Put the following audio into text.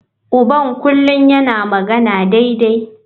Uban kullum yana magana daidai.